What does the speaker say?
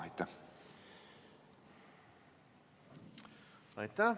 Aitäh!